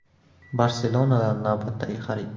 “Barselona”dan navbatdagi xarid.